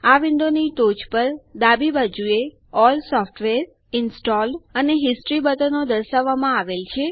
આ વિન્ડોની ટોચ પર ડાબી બાજુએ અલ્લ સોફ્ટવેર ઇન્સ્ટોલ્ડ અને હિસ્ટોરી બટનો દર્શાવવામાં આવેલ છે